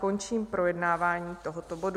Končím projednávání tohoto bodu.